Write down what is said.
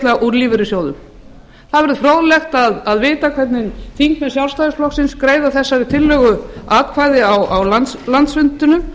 greiðslna úr lífeyrissjóðum það verður fróðlegt að vita hvernig þingmenn sjálfstæðisflokksins greiða þessari tillögu atkvæði á landsfundinum